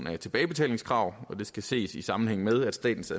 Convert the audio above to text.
af tilbagebetalingskrav det skal ses i sammenhæng med at statens